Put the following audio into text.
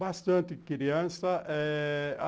Bastante criança é...